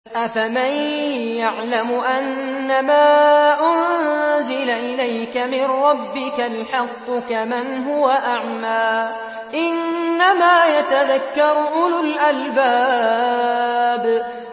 ۞ أَفَمَن يَعْلَمُ أَنَّمَا أُنزِلَ إِلَيْكَ مِن رَّبِّكَ الْحَقُّ كَمَنْ هُوَ أَعْمَىٰ ۚ إِنَّمَا يَتَذَكَّرُ أُولُو الْأَلْبَابِ